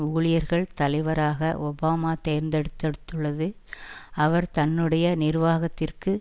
ஊழியர்கள் தலைவராக ஒபாமா தேர்ந்து எடுத்துள்ளது அவர் தன்னுடைய நிர்வாகத்திற்கு